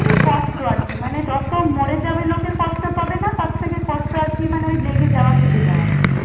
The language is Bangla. খুবই কষ্ট আর কি যত মরে যাবে লোকে তত কষ্ট পাবে না তার থেকে কষ্ট আর কি মানে ওই লেগে যাওয়া কেটে যাওয়াতে।